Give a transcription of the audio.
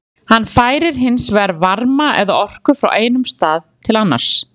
Hann færir hins vegar varma eða orku frá einum stað til annars.